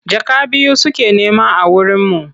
Jaka biyu suke nema a wurinmu.